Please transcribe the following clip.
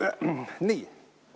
Nii.